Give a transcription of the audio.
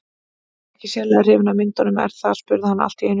Þú ert ekkert sérlega hrifin af myndunum, er það? spurði hann allt í einu.